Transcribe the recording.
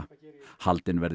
haldin verði